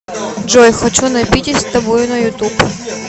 джой хочу напитись тобою на ютуб